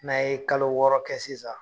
N'a ye kalo wɔɔrɔ kɛ sisan